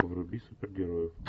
вруби супергероев